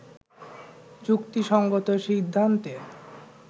যুক্তি সংগত সিদ্ধান্তে